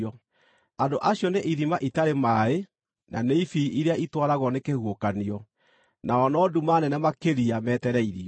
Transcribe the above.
Andũ acio nĩ ithima itarĩ maaĩ, na nĩ ibii iria itwaragwo nĩ kĩhuhũkanio. Nao no nduma nene makĩria metereirio.